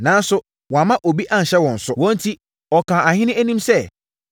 Nanso, wamma obi anhyɛ wɔn so; wɔn enti, ɔkaa ahene anim sɛ;